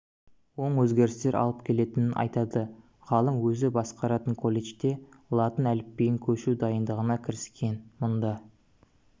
оң өзгерістер алып келетінін айтады ғалым өзі басқаратын колледжде латын әліпбиіне көшу дайындығына кіріскен мұнда